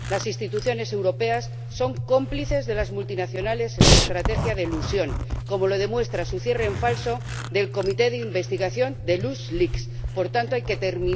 Las instituciones europeas son cómplices de las multinacionales en su estrategia de elusión, como lo demuestra el cierre en falso del comité de investigación de LuxLeaks. Por tanto, hay que terminar con esta situación ya.